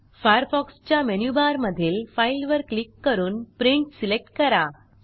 Firefox च्या मेनूबारमधील file वर क्लिक करून प्रिंट सिलेक्ट करा